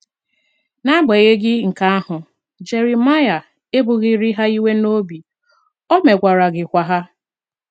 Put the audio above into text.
N’agbanyeghị nke ahụ, Jeremaịa ebughịrị ha iwe n’obi, o megwaraghịkwa ha.